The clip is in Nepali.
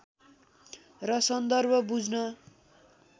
र सन्दर्भ बुझ्न